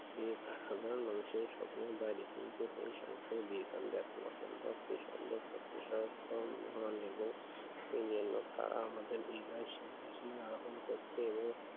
এই একটি সাধারণ মানুষের স্বপ্নের বাড়ি কিন্তু এই সংসারে বিয়ে করলে হন এবং করা আমাদের এই সিংহাসনে আরোহন করতে এবং